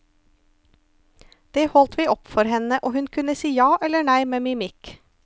Den holdt vi opp for henne, og hun kunne si ja eller nei med mimikk.